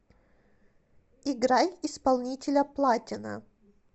играй исполнителя платина